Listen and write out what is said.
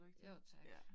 Jo tak